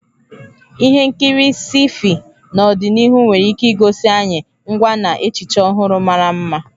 Ihe nkiri sci-fi n'ọdịnihu nwere ike igosi anyị ngwa na echiche ọhụrụ mara mma.